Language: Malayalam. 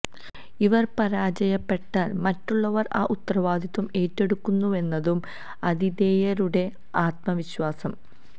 ഇവര് പരാജയപ്പെട്ടാല് മറ്റുള്ളവര് ആ ഉത്തരവാദിത്വം ഏറ്റെടുക്കുന്നുവെന്നതും ആതിഥേയരുടെ ആത്മവിശ്വാസം